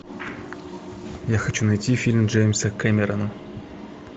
я хочу найти фильм джеймса кэмерона